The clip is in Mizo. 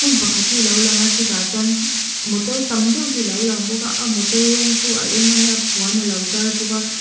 hmun pakhat hi a lo lang a chutah chuan motor tam deuh hi a lo lang bawk a a motor rawng chu a eng a nia puan a lo zar bawk a.